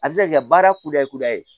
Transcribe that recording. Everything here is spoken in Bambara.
A bɛ se ka kɛ baara kunda ye kudayi